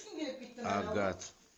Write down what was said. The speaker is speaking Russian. агат